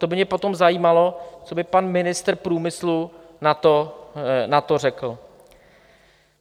To by mě potom zajímalo, co by pan ministr průmyslu na to řekl.